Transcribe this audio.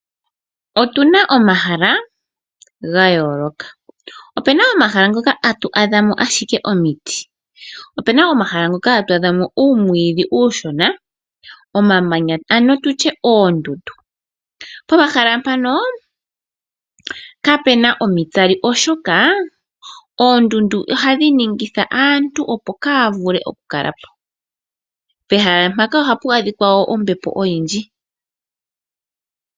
Otuna omahala ga yooloka. Opuna omahala ngoka hatu adha mo ashike omiti, po pena ngoka hatu adhamo uumwidhi uushona omamanya ano tutye oondundu. Pomahala mpano ihapu adhika omatsali oshoka oondundu ohadhi ningi aantu, opo kaya vule oku kalapo nohapu adhika ombepo oyindji.